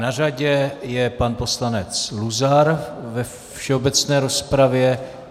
Na řadě je pan poslanec Luzar ve všeobecné rozpravě.